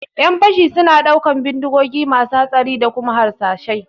ƴan fashi suna ɗaukan bindigogi masu hatsari da kuma harsashai